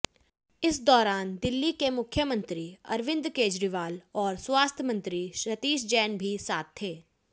इस दौरान दिल्ली के मुख्यमंत्री अरविंद केजरीवाल और स्वास्थ्य मंत्री सतीश जैन भी साथ थे